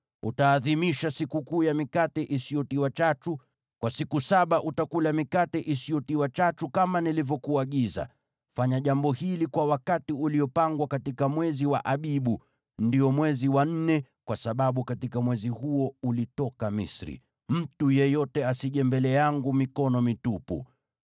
“Utaadhimisha Sikukuu ya Mikate Isiyotiwa Chachu; kwa siku saba utakula mikate isiyotiwa chachu kama nilivyokuagiza. Fanya jambo hili kwa wakati uliopangwa katika mwezi wa Abibu, ndio mwezi wa nne, kwa sababu katika mwezi huo ulitoka Misri. “Mtu yeyote asije mbele yangu mikono mitupu.